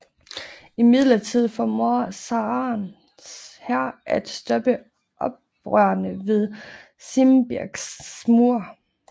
Imidlertid formår zarens hær at stoppe oprørerne ved Simbirsks mure